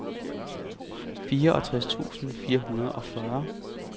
fireogtres tusind fire hundrede og fyrre